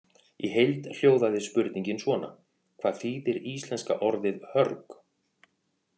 Í heild hljóðaði spurningin svona: Hvað þýðir íslenska orðið hörg?